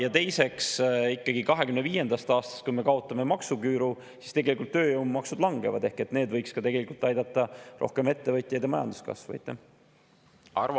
Ja teiseks, ikkagi 2025. aastast, kui me kaotame maksuküüru, tööjõumaksud langevad – see võiks ka tegelikult aidata rohkem ettevõtjaid ja majanduskasvu.